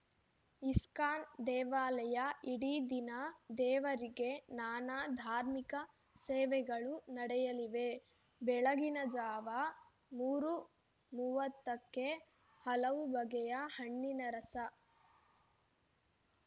ISKCON ದೇವಾಲಯ ಇಡೀ ದಿನ ದೇವರಿಗೆ ನಾನಾ ಧಾರ್ಮಿಕ ಸೇವೆಗಳು ನಡೆಯಲಿವೆ ಬೆಳಗಿನ ಜಾವ ಮೂರು ಮೂವತ್ತಕ್ಕೆ ಹಲವು ಬಗೆಯ ಹಣ್ಣಿನ ರಸ